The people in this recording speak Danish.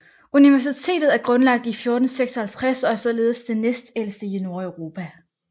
Universitetet er grundlagt i 1456 og er således det næstældste i Nordeuropa